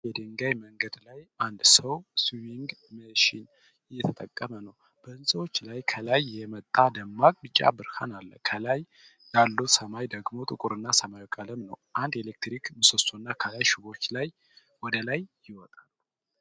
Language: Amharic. ጠባብ የድንጋይ መንገድ ላይ አንድ ሰው ሲዊንግ መሺን እየተጠቀመ ነው። በህንፃዎቹ ላይ ከላይ የመጣ ደማቅ ቢጫ ብርሃን አለ። ከላይ ያለው ሰማይ ደግሞ ጥቁር ሰማያዊ ቀለም ነው። አንድ የኤሌክትሪክ ምሰሶና ከላይ ሽቦዎች ወደ ላይ ይወጣሉ።